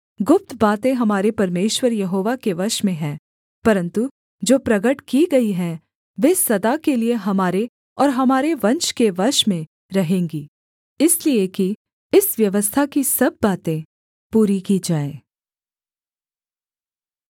गुप्त बातें हमारे परमेश्वर यहोवा के वश में हैं परन्तु जो प्रगट की गई हैं वे सदा के लिये हमारे और हमारे वंश के वश में रहेंगी इसलिए कि इस व्यवस्था की सब बातें पूरी की जाएँ